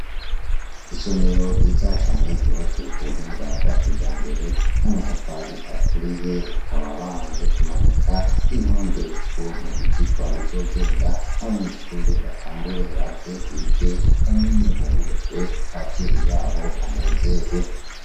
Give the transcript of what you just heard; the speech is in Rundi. Isomero ryiza cane ryubatswe ku buhinga bwa kijambere n'amatafari aturiye, bakaba bamaze kumanika intonde z'ukuntu ivyirwa bizogenda. Abanyeshure batangure baze bige bamenye bungurujwe, abavyeyi babo banezerwe.